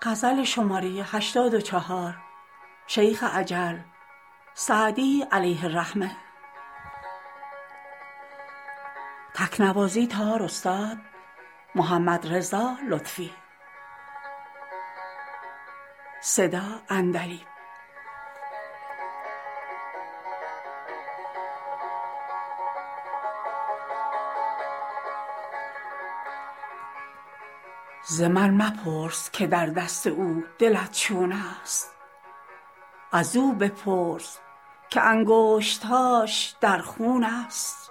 ز من مپرس که در دست او دلت چون است ازو بپرس که انگشت هاش در خون است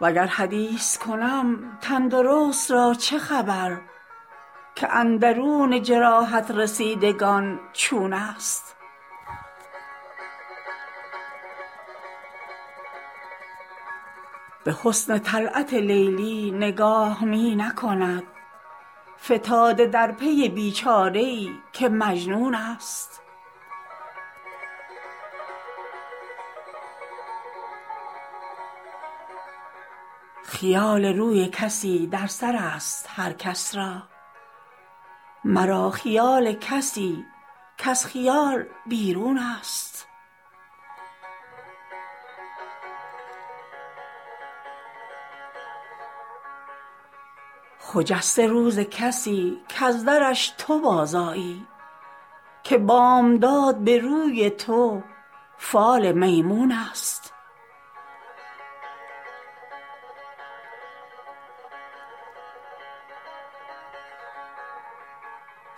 وگر حدیث کنم تن درست را چه خبر که اندرون جراحت رسیدگان چون است به حسن طلعت لیلی نگاه می نکند فتاده در پی بی چاره ای که مجنون است خیال روی کسی در سر است هر کس را مرا خیال کسی کز خیال بیرون است خجسته روز کسی کز درش تو بازآیی که بامداد به روی تو فال میمون است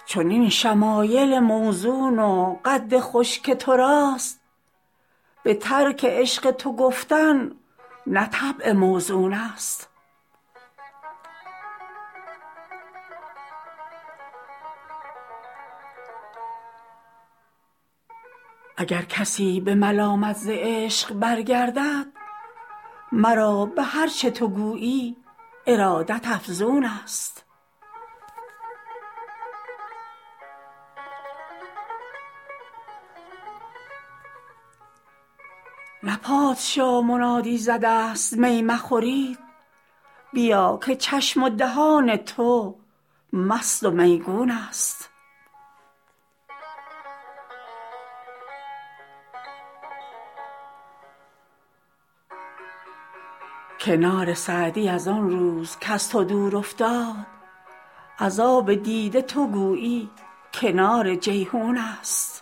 چنین شمایل موزون و قد خوش که تو راست به ترک عشق تو گفتن نه طبع موزون است اگر کسی به ملامت ز عشق برگردد مرا به هر چه تو گویی ارادت افزون است نه پادشاه منادی زده است می مخورید بیا که چشم و دهان تو مست و میگون است کنار سعدی از آن روز کز تو دور افتاد از آب دیده تو گویی کنار جیحون است